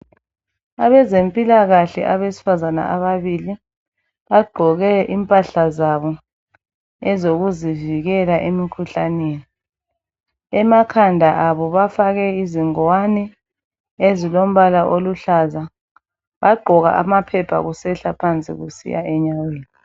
Abezempilakahle abesifazana ababili bagqoke impahla zabo ezokuzivikela emikhuhlaneni emakhanda abo bafake izingwane ezilombala oluhlaza bagqoka amaphepha kusehla phansi kusiya enyaweni.